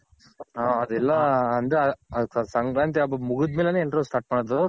ಹ ಎಲ್ಲ ಅದು ಸಂಕ್ರಾಂತಿ ಹಬ್ಬ ಮುಗದ್ ಮೇಲೇನೆ ಎಲ್ರು start ಮಾಡೋದು.